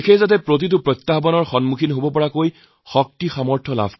প্ৰতিটো প্ৰত্যাহ্বানৰ মোকাবিলা কৰাৰ ক্ষমতা আমাৰ দেশৰ আহক